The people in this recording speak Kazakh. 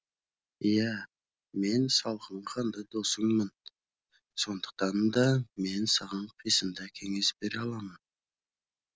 иә мен салқын қанды досыңмын сондықтан да мен саған қисынды кеңес бере аламын